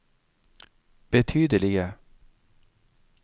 betydelige